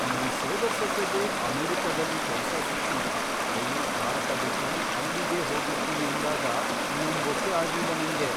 ನನ್ ಸೋದರ್ಸೊಸೆಗೆ ಅಮೆರಿಕದಲ್ಲಿ ಕೆಲ್ಸ ಸಿಕ್ಕಿ ಅವ್ಳು ಭಾರತ ಬಿಟ್ಟು ಅಲ್ಲಿಗೇ ಹೋಗಿರ್ತೀನಿ ಅಂದಾಗ ನಂಬೋಕೇ ಆಗ್ಲಿಲ್ಲ ನಂಗೆ.